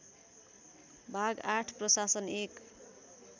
भाग ८ प्रशासन १